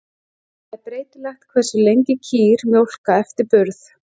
Það er breytilegt hversu lengi kýr mjólka eftir burð.